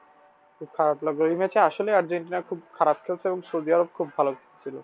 খুব খারাপ লাগলো এই match এ আসলেই আর্জেন্টিনা খুব খারাপ খেলছে এবং সৌদি আরব খুব ভালো খেলছিল।